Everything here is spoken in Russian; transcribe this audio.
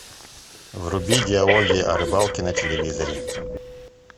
вруби диалоги о рыбалке на телевизоре